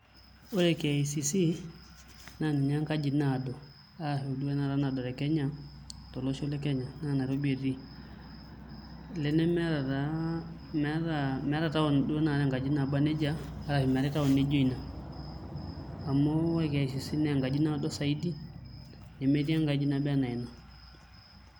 Ore KICC naa ninye enkaji naado ,naado duo tinakata tekenya, tolosho lekenya naa nairobi etii. Olee nemeeta taa taon naa enkaji naijo ina nemeetae enkaji naijo ina .Amu ore KIcC naa enkaji naado saidi nemetii enkaji naijo ina.